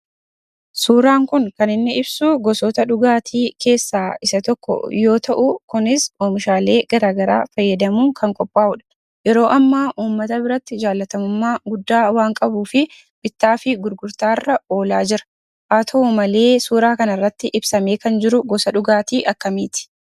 Suuraan kun kaniinni ibsu, gosoota dhugaatii keessaa isa tokko yoo ta'u, kunis Oomishaalee garagaraa fayyadamuun kan qophaa'u dha. yeroo ammaa uummata biratti jaaallatamumma guddaa waan qabuufi bittaa fi gurgurtaarra oola jira. haa ta'u malee, suuraa kanarratti ibsamee kan jiru gosa dhugaati akkamiiti?